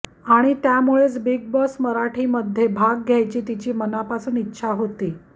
आणि त्यामुळेच Bigg Boss Marathi मध्ये भाग घ्यायची तिची मनापासून इच्छा होती